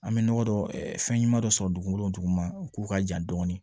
An bɛ nɔgɔ dɔ fɛnɲuman dɔ sɔrɔ dugukolo duguma k'o ka jan dɔɔnin